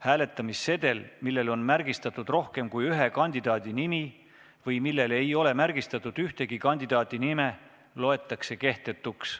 Hääletamissedel, millel on märgistatud rohkem kui ühe kandidaadi nimi või millel ei ole märgistatud ühegi kandidaadi nime, loetakse kehtetuks.